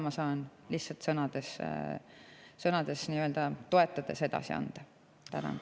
Ma saan lihtsalt sõnadega toetades seda siin edasi anda.